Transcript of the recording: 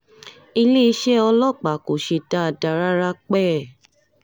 iléeṣẹ́ ọlọ́pàá kò ṣe dáadáa rárá pẹ́ẹ́